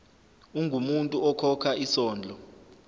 ungumuntu okhokha isondlo